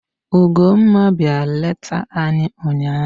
Ugomma bia leta anyi ụnyaahụ